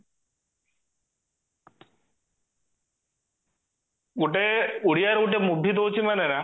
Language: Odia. ଗୋଟେ ଓଡିଆ ରେ ଗୋଟେ movie ଦଉଛି